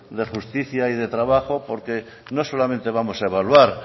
de justicia y de trabajo porque no solamente vamos a evaluar